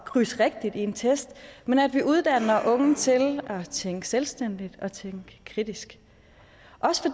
krydsene rigtigt i en test men at vi uddanner unge til at tænke selvstændigt og tænke kritisk